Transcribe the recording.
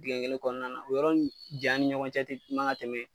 Digɛn kelen kɔnɔna na o yɔrɔ nin jan ni ɲɔgɔn cɛ te manga tɛmɛ